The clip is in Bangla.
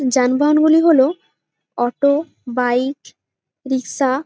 যানবাহন গুলি হলো অটো বাইক রিকসা --